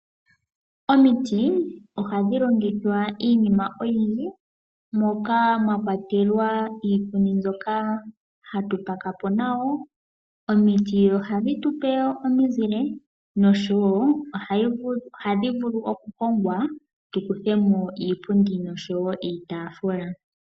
Omiti ohadhi longithwa iinima oyindji moka mwakwatelwa iipundi mbyoka hatu pakapo nayo . Omiti ohadhi tupe omizile noshowo ohadhi vulu okuhongwa tukuthemo iipundi oshowo iitaafula.